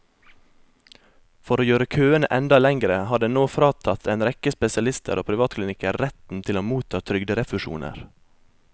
For å gjøre køene enda lengre har den nå fratatt en rekke spesialister og privatklinikker retten til å motta trygderefusjoner.